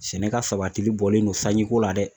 Sɛnɛ ka sabatili bɔlen don sanjiko la dɛ